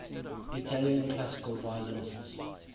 italian classical violinists